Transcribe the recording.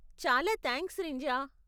చాలా థాంక్స్ రింజా.